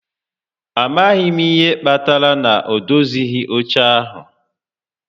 A maghị m ihe kpatara na ọ dozighị óche a